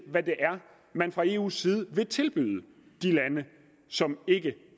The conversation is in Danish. hvad det er man fra eus side vil tilbyde de lande som ikke